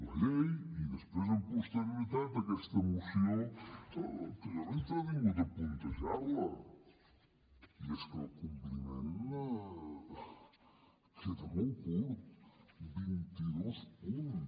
la llei i després amb posterioritat aquesta moció que jo m’he entretingut a puntejar la i és que el compliment queda molt curt vint i dos punts